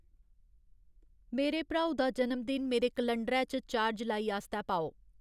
मेरे भ्राऊ दा जनम दिन मेरे कलंडरै च चार जुलाई आस्तै पाओ